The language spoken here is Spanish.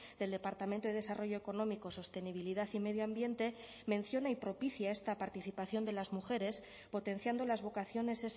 del departamento de desarrollo económico sostenibilidad y medio ambiente menciona y propicia esta participación de las mujeres potenciando las vocaciones